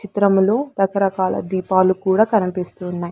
చిత్రములో రకరకాల దీపాలు కూడా కనపిస్తు ఉన్నాయ్.